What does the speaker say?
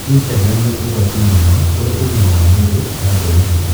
Instagram ni ugwati mũno kũrĩ ũgima wa mwiri wa mbeũ njithi